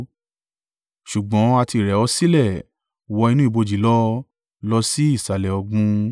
Ṣùgbọ́n a ti rẹ̀ ọ́ sílẹ̀ wọ inú ibojì lọ lọ sí ìsàlẹ̀ ọ̀gbun.